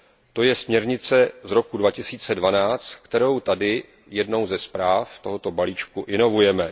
To je směrnice z roku 2012, kterou tady jednou ze zpráv tohoto balíčku inovujeme.